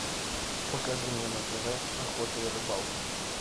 покажи мне на тв охота и рыбалка